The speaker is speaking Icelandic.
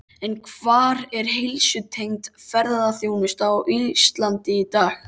En hvar er heilsutengd ferðaþjónusta á Íslandi í dag?